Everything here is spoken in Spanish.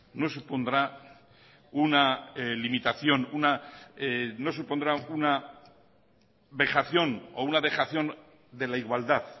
no supondrá una limitación no supondrá una vejación o una dejación de la igualdad